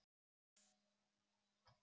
Hún borðar ekki á morgnana.